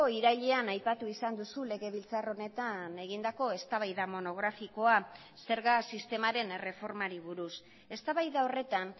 irailean aipatu izan duzu legebiltzar honetan egindako eztabaida monografikoa zerga sistemaren erreformari buruz eztabaida horretan